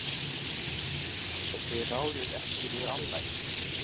Og þið ráðið ekki við álagið?